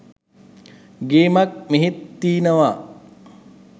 ගේමක් මෙහෙත් තීනව.